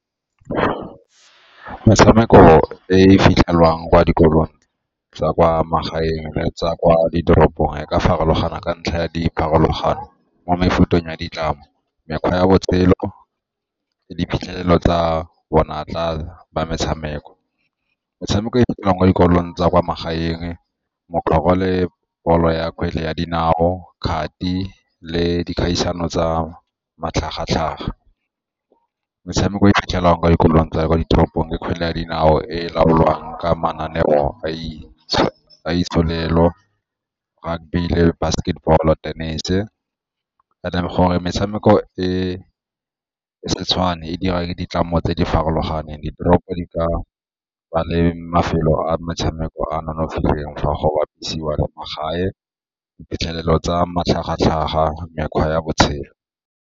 Metshameko e e fitlhelwang kwa dikolong tsa kwa magaeng tsa kwa ditoropong e ka farologana ka ntlha ya dipharologano mo mefuteng ya ditlamo, mekgwa ya botshelo, le diphitlhelelo tsa bonatla ba metshameko. Metshameko e fitlhelang kwa dikolong tsa kwa magaeng le bolo ya kgwele ya dinao, kgati le dikgaisano tsa matlhagatlhaga. Metshameko e e fitlhelang kwa dikolong tsa kwa ditoropong ke kgwele ya dinao e laolwang ka mananeo a basketball-o, tennis-e, and then gore metshameko e se tshwane e dira ditlamo tse di farologaneng, ditoropo di ka ba le mafelo a metshameko a a nonofileng fa go bapisiwa le magae, diphitlhelelo tsa matlhagatlhaga, mekgwa ya botshelo.